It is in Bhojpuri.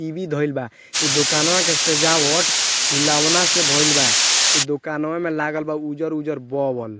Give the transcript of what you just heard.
टी.वी. धईल बा इ दुकानवा के सजावट फुलौना से भईल बा इ दुकांवा में लागल बा उज्जर-उज्जर बॉल ।